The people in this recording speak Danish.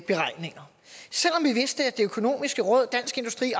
de økonomiske råd dansk industri